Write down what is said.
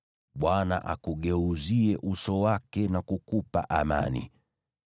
Bwana akugeuzie uso wake na kukupa amani.” ’